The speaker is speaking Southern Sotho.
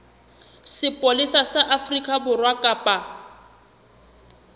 sepolesa sa afrika borwa kapa